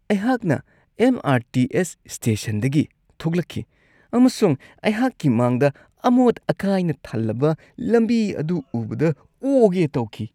ꯑꯩꯍꯥꯛꯅ M. R. T. S. ꯁ꯭ꯇꯦꯁꯟꯗꯒꯤ ꯊꯣꯛꯂꯛꯈꯤ ꯑꯃꯁꯨꯡ ꯑꯩꯍꯥꯛꯀꯤ ꯃꯥꯡꯗ ꯑꯃꯣꯠ-ꯑꯀꯥꯏꯅ ꯊꯜꯂꯕ ꯂꯝꯕꯤ ꯑꯗꯨ ꯎꯕꯗ ꯑꯣꯒꯦ ꯇꯧꯈꯤ ꯫